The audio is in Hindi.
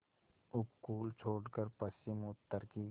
उपकूल छोड़कर पश्चिमउत्तर की